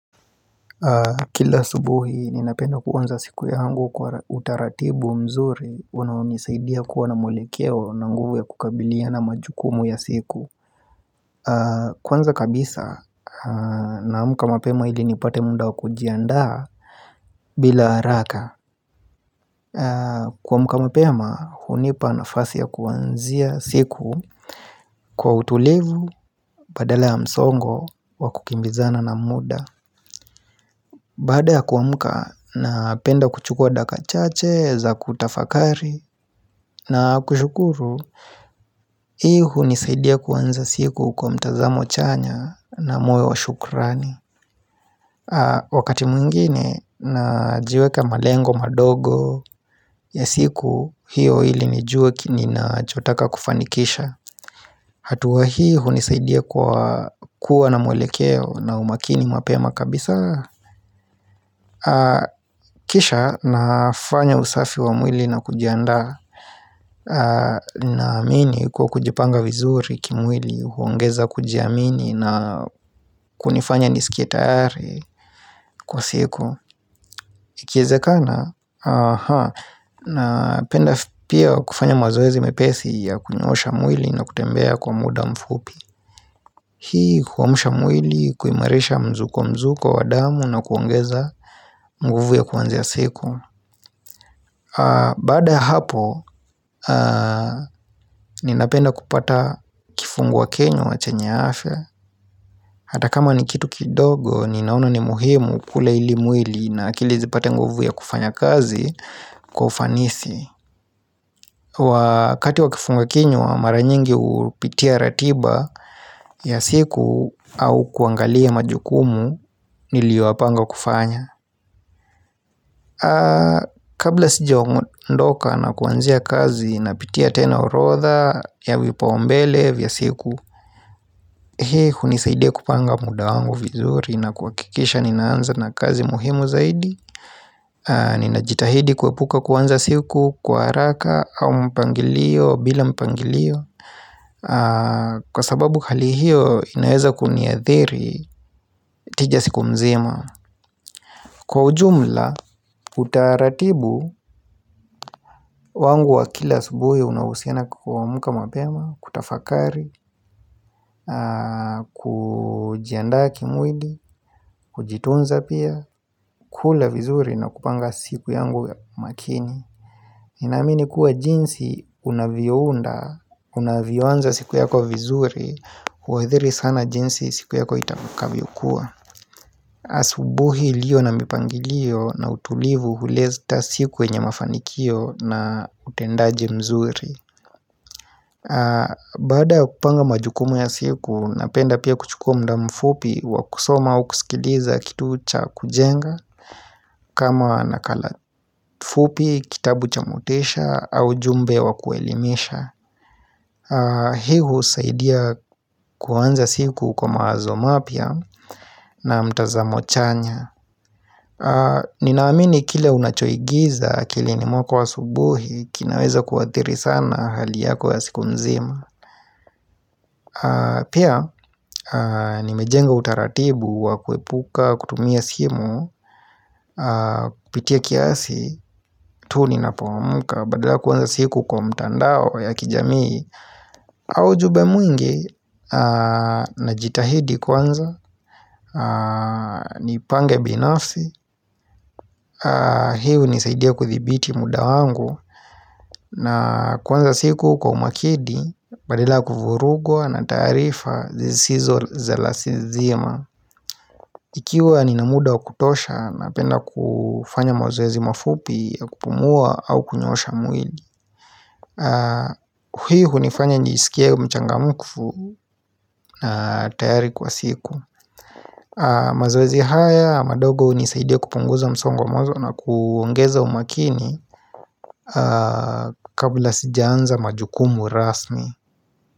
Kila asubuhi, ninapenda kuanza siku yangu kwa utaratibu mzuri Unaonisaidia kuwa na mwelekeo na nguvu ya kukabiliana majukumu ya siku Kwanza kabisa, na amka mapema ili nipate muda wakujiandaa bila haraka Kuamka mapema, hunipa nafasi ya kuanzia siku Kwa utulivu, badala ya msongo, wakukimbizana na muda Baada ya kuamka napenda kuchukua dakika chache za kutafakari na kushukuru Hii hunisaidia kuanza siku kwa mtazamo chanya na moyo wa shukrani Wakati mwingine najiweka malengo madogo ya siku hiyo ili nijue ninachotaka kufanikisha hatua hii hunisaidia kwa kuwa na mwelekeo na umakini mapema kabisa Kisha nafanya usafi wa mwili na kujiandaa naamini kuwa kujipanga vizuri kimwili huongeza kujiamini na kunifanya nisikie tayari kwa siku ikiwezekana napenda pia kufanya mazoezi mepesi ya kunyoosha mwili na kutembea kwa muda mfupi Hii huamsha mwili kuimarisha mzunguko wa damu na kuongeza mguvu ya kuanzia siku Baada ya hapo, ninapenda kupata kifungua kinywa chenye afya Hata kama ni kitu kidogo, ninaona ni muhimu kula ili mwili na akili zipate nguvu ya kufanya kazi kwa ufanisi Wakati wa kifungua kinywa, mara nyingi hupitia ratiba ya siku au kuangalia majukumu niliyopanga kufanya Kabla sijaondoka na kuanzia kazi napitia tena orodha ya vipaumbele vya siku Hii hunisaidia kupanga muda wangu vizuri na kuhakikisha ninaanza na kazi muhimu zaidi Ninajitahidi kuepuka kuanza siku kwa haraka au mpangilio bila mpangilio Kwa sababu hali hiyo inaweza kuniathiri tija siku mzima Kwa ujumla, utaratibu wangu wa kila asubuhi unahusiana kuamka mapema, kutafakari, kujiandaa kimwili, kujitunza pia, kula vizuri na kupanga siku yangu makini Ninaamini kuwa jinsi unavyounda, unavyoanza siku yako vizuri, huathiri sana jinsi siku yako itakavyokuwa asubuhi iliyo na mipangilio na utulivu huleta siku yenye mafanikio na utendaji mzuri Baada kupanga majukumu ya siku, napenda pia kuchukua muda mfupi wa kusoma au kusikiliza kitu cha kujenga kama nakala fupi, kitabu cha motisha au ujumbe wa kuelimisha Hii husaidia kuanza siku kwa mawazo mapya na mtazamo chanya Ninaamini kile unachoingiza akilini mwako asubuhi kinaweza kuathiri sana hali yako ya siku mzima Pia nimejenga utaratibu wa kuepuka kutumia simu kupitia kiasi tu ninapoamka Badala kwanza siku kwa mtandao ya kijamii kwa ujumbe mwingi, najitahidi kwanza Nipange binafsi hii hunisaidia kuthibiti muda wangu na kuanza siku kwa umakini Badala ya kuvurugwa na taarifa zisizo za lazima Ikiwa nina muda wa kutosha napenda kufanya mazoezi mafupi ya kupumua au kunyoosha mwili Hii hunifanya nisikie mchangamfu na tayari kwa siku mazoezi haya madogo hunisaidia kupunguza msongo wa mawazo na kuongeza umakini kabla sijaanza majukumu rasmi.